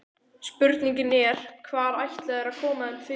Spurningin er, hvar ætla þeir að koma þeim fyrir?